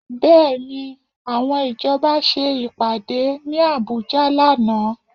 Bẹ́ẹ̀ni, àwọn ìjọba ṣe ìpàdé ní Àbújá lánàá